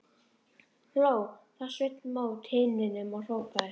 Hló þá Sveinn mót himninum og hrópaði: